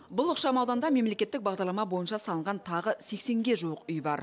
бұл ықшам ауданда мемлекеттік бағдарлама бойынша салынған тағы сексенге жуық үй бар